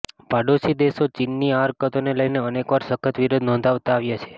પાડોશી દેશો ચીનની આ હરકતોને લઈને અનેકવાર સખત વિરોધ નોંધાવતા આવ્યાં છે